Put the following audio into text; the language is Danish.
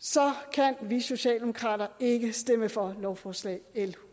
kan vi socialdemokrater ikke stemme for lovforslag l